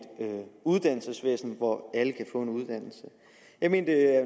uddannelsesvæsen hvor alle kan få en uddannelse jeg mener